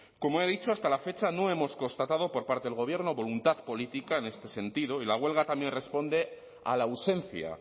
como he dicho hasta la fecha no hemos constatado por parte del gobierno voluntad política en este sentido y la huelga también responde a la ausencia